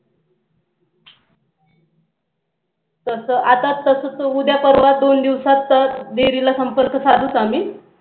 तस आता तस उद्या परवा दोन दिवसात तर dairy ला संपर्क साधुच आम्ही